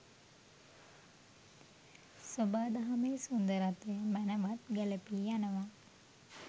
සොබාදහමේ සුන්දරත්වය මැනවන් ගැලපී යනවා.